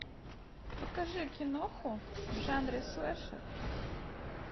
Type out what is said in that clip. покажи киноху в жанре слэшер